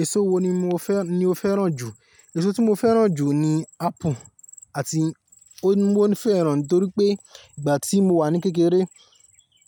Èso wo ni mo fẹ́, ni o fẹ́ràn jù? Èso tí mo fẹ́ràn jù ni apple, àti ó ní mo fẹ́ràn nítorí pé ìgbà tí mo wà ní kékeré,